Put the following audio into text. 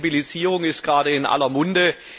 Die Flexibilisierung ist gerade in aller Munde.